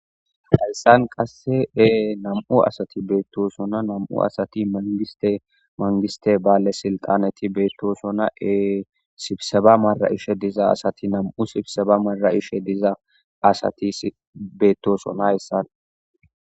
Hassan qasse ee nam7u asati beettosona nam7u asati mangiste mangiste baale silqaneti beettosonna ee sibseba mara ishe diza asati nam7u sibseba mara ishe diza asati beettosonahyssan